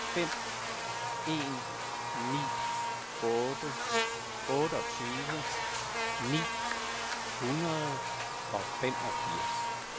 fem en ni otte otteogtyve ni hundrede og femogfirs